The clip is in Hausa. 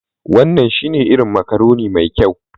Wannan shine irin macaroni mai kyau